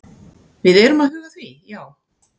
Við erum að huga að því, já.